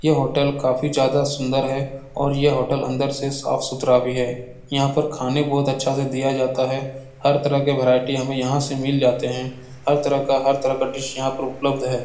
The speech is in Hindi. यह होटल काफी ज्यादा सुन्दर है और यह होटल अंदर से साफ-सुथरा भी है। यहाँ पर खाने बहुत अच्छे से दिया जाता है। हर तरह के भेरायटी हमें यहाँ से मिल जाते हैं। हर तरह का हर तरह का डिश यहाँ पर उपलब्ध है।